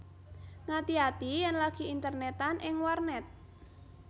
Ngati ati yèn lagi internètan ing warnèt